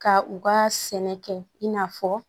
Ka u ka sɛnɛ kɛ in n'a fɔ